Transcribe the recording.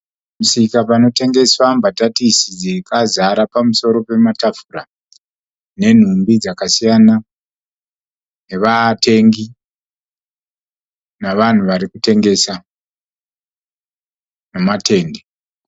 Pamusika panotengeswa mbatatisi dzakazara pamusoro petafura nenhumbi dzakasiyana nevatengi nevanhu varikutengesa nematemba.